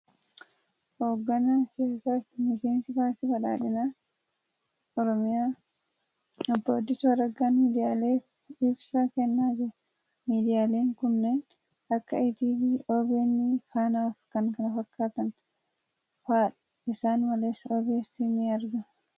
Hogganaan siyaasaa fi miseensi paartii badhaadhinaa Oromiyaa Obbo Addisuu Araggaan miidiyaaleef ibsa kennaa niru . Miidiyaaleen kanneen akka ETV , OBN, Faaanaa fi kan kana fakkaatan fa'aadha .Isaan Malees, OBS ni argama .